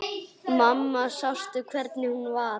Mamma sástu hvernig hún var?